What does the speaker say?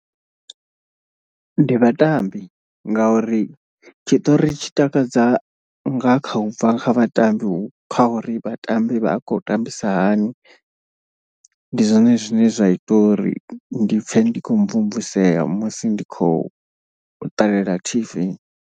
Ndi vhatambi ngauri tshiṱori tshi takadza nga kha ubva kha vhatambi kha uri vhatambi vha a khou tambisa hani. Ndi zwone zwine zwa ita uri ndi pfhe ndi kho mvumvusea musi ndi khou ṱalela T_V.